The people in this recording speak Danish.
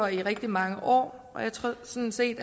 i rigtig mange år og jeg tror sådan set